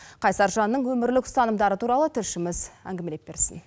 қайсар жанның өмірлік ұстанымдары туралы тілшіміз әңгімелеп берсін